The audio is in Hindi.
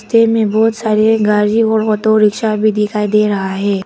थे में बहुत सारे गाड़ी और ऑटो रिक्शा भी दिखाई दे रहा है।